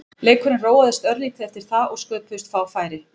Leikurinn róaðist örlítið eftir það og sköpuðust fá færi.